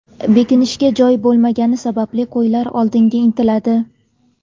Bekinishga joy bo‘lmagani sababli qo‘ylar oldinga intiladi.